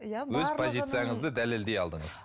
өз позицияңызды дәлелдей алдыңыз